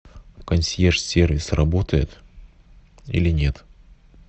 консьерж сервис работает или нет